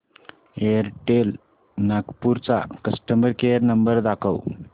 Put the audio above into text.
Airtel Nagpur चा customer care number दाखव